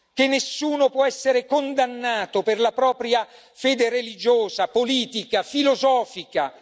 che nessuno può essere condannato per la propria fede religiosa, politica, filosofica